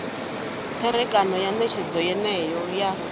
tserekano ya netshedzo yeneyo ya